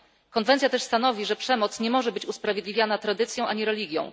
Konwencja stanowi też, że przemoc nie może być usprawiedliwiana tradycją ani religią.